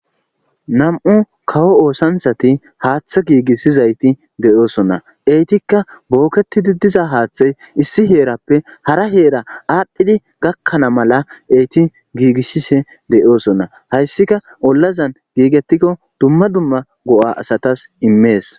nam7u kawo oosanshati haaththa giigissizayti deyoosonna eytikka bookketidi diza haaththey issi heerappe hara heera aadhdhidi gakkana mala eti giigisshise deyoosonna hayssika ollazan giigetikko dumma dumma go7a asatas immees